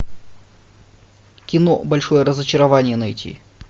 кино большое разочарование найти